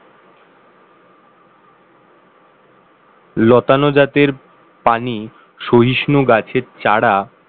লতানো জাতের পানি সহিষ্ণু গাছের চারা